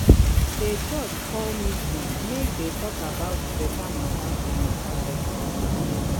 dey church call meeting make them talk about better matters for matters for the area